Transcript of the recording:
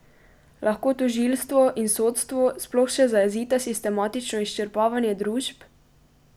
Lahko tožilstvo in sodstvo sploh še zajezita sistematično izčrpavanje družb?